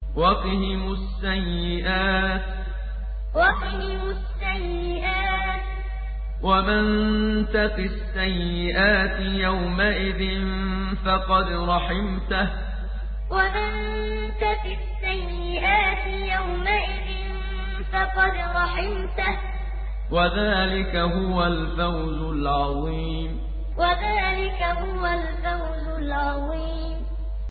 وَقِهِمُ السَّيِّئَاتِ ۚ وَمَن تَقِ السَّيِّئَاتِ يَوْمَئِذٍ فَقَدْ رَحِمْتَهُ ۚ وَذَٰلِكَ هُوَ الْفَوْزُ الْعَظِيمُ وَقِهِمُ السَّيِّئَاتِ ۚ وَمَن تَقِ السَّيِّئَاتِ يَوْمَئِذٍ فَقَدْ رَحِمْتَهُ ۚ وَذَٰلِكَ هُوَ الْفَوْزُ الْعَظِيمُ